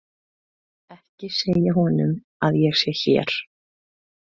Ekki segja honum að ég sé hér.